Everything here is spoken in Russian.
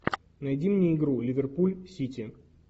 найди мне игру ливерпуль сити